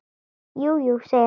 Jú, jú, segir hann.